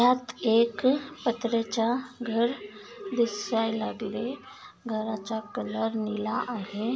यात एक पत्र्याच्या घर दिसाय लागले घराचा कलर निळा आहे.